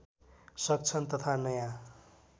सक्छन् तथा नयाँ